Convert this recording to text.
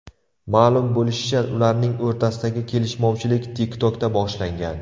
Ma’lum bo‘lishicha, ularning o‘rtasidagi kelishmovchilik TikTok’da boshlangan.